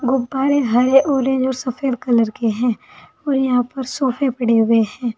गुब्बारे हरे ऑरेंज और सफेद कलर के हैं और यहां पर सोफे पड़े हुए हैं।